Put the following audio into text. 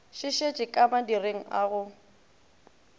šišitše ka madireng a go